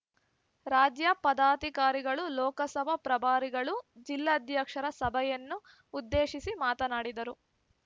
ರಾಜ್ಯ ಪದಾಧಿಕಾರಿಗಳು ಲೋಕಸಭಾ ಪ್ರಭಾರಿಗಳು ಜಿಲ್ಲಾಧ್ಯಕ್ಷರ ಸಭೆಯನ್ನು ಉದ್ದೇಶಿಸಿ ಮಾತನಾಡಿದರು